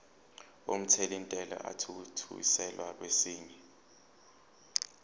omthelintela athuthukiselwa kwesinye